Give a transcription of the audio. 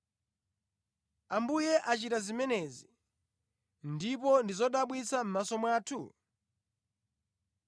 Ambuye achita zimenezi, ndipo ndi zodabwitsa mʼmaso mwathu?’ ”